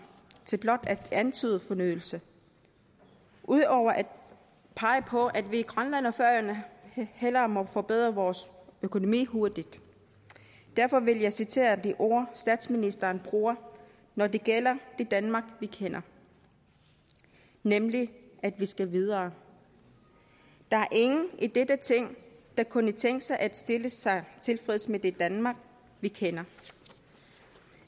til blot at antyde fornyelse udover at pege på at vi i grønland og færøerne hellere må forbedre vores økonomi hurtigt derfor vil jeg citere de ord statsministeren bruger når det gælder det danmark vi kender nemlig at vi skal videre der er ingen i dette ting der kunne tænke sig at stille sig tilfreds med det danmark vi kender